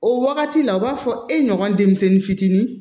O wagati la u b'a fɔ e ɲɔgɔn denmisɛnnin fitinin